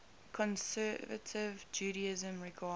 conservative judaism regards